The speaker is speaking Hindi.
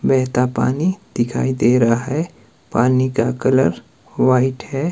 बहता पानी दिखाई दे रहा है पानी का कलर वाइट है।